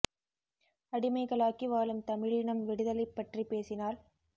அடிமைகளாக்கி வாழும் தமிழினம் விடுதலை பற்ரி பேசினால்